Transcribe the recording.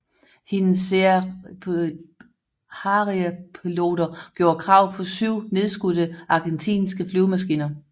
Hendes Sea Harrierpiloter gjorde krav på 7 nedskudte argentinske flyvemaskiner